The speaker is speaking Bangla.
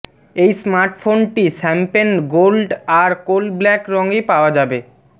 এই স্মার্টফোনটি শ্যাম্পেন গোল্ড আর কোল ব্ল্যাক রঙে পাওয়া যাবে